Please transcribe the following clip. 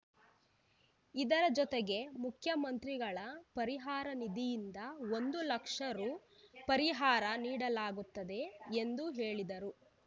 ಇದರ ಜತೆಗೆ ಮುಖ್ಯಮಂತ್ರಿಗಳ ಪರಿಹಾರ ನಿಧಿಯಿಂದ ಒಂದು ಲಕ್ಷ ರು ಪರಿಹಾರ ನೀಡಲಾಗುತ್ತದೆ ಎಂದು ಹೇಳಿದರು